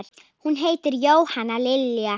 Hún heitir Jóhanna Lilja.